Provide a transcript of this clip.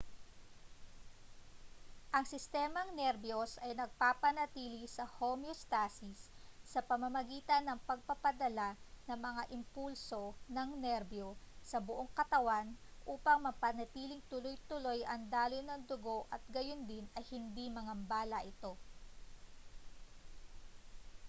ang sistemang nerbiyos ay nagpapanatili sa homeostasis sa pamamagitan ng pagpapadala ng mga impulso ng nerbiyo sa buong katawan upang mapanatiling tuloy-tuloy ang daloy ng dugo at gayundin ay hindi magambala ito